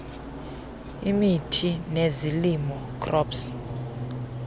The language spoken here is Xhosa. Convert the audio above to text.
imithi nezilimo crops